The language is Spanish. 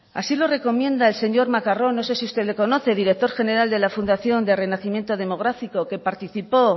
así lo recomienda el señor macarrón no sé si usted lo conoce director general de la fundación de renacimiento demográfico que participó